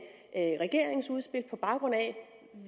regeringens udspil på baggrund af